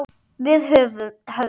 Við höfðum